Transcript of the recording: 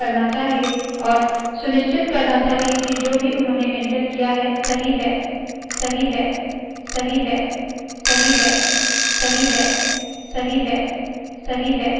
इस ट्यूटोरियल को सुनने के लिए धन्यवाद मैं सकीना शेख आपसे आज्ञा लेती हूँ नमस्कार